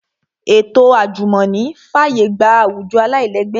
Ètò àjùmọ̀ní fàyè gba àwùjọ aláìlẹ́gbẹ́